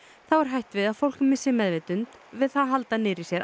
þá hætt við að fólk missi meðvitund við það að halda niðri í sér